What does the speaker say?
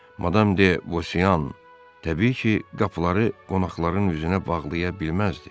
Madam de Bosyan təbii ki, qapıları qonaqların üzünə bağlaya bilməzdi.